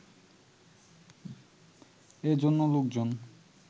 এ জন্য লোকজন